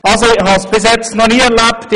Das habe ich bisher aber noch nie so erlebt;